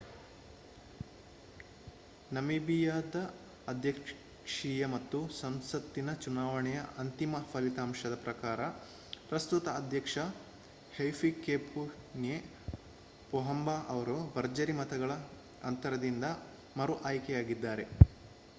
ನಮೀಬಿಯಾದ ಅಧ್ಯಕ್ಷೀಯ ಮತ್ತು ಸಂಸತ್ತಿನ ಚುನಾವಣೆಯ ಅಂತಿಮ ಫಲಿತಾಂಶದ ಪ್ರಕಾರ ಪ್ರಸ್ತುತ ಅಧ್ಯಕ್ಷ ಹೈಫಿಕೇಪುನ್ಯೆ ಪೊಹಂಬಾ ಅವರು ಭರ್ಜರಿ ಮತಗಳ ಅಂತರದಿಂದ ಮರು ಆಯ್ಕೆಯಾಗಿದ್ದಾರೆ